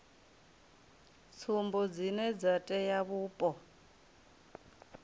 tsumbo dzine dza tea vhupo